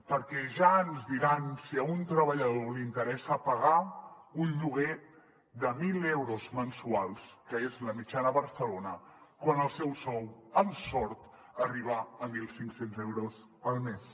perquè ja ens diran si a un treballador li interessa pagar un lloguer de mil euros mensuals que és la mitjana a barcelona quan el seu sou amb sort arriba a mil cinc cents euros al mes